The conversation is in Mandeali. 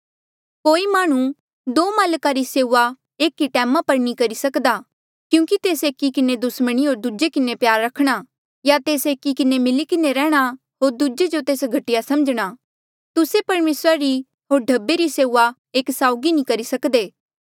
कोई माह्णुं दो माल्का री सेऊआ एक ई टैमा पर नी करी सक्दा क्यूंकि तेस एकी किन्हें दुस्मणी होर दूजे किन्हें प्यार रखणा या तेस एकी किन्हें मिली किन्हें रैंह्णां होर दूजे जो तेस घटिया समझणा तुस्से परमेसरा री होर ढब्बे री सेऊआ एक साउगी नी करी सकदे